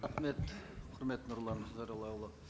рахмет құрметті нұрлан зайроллаұлы